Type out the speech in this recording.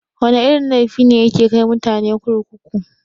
Wana irin laifi ne yake kai mutane kurkuku?